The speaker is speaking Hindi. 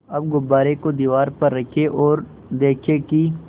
अब गुब्बारे को दीवार पर रखें ओर देखें कि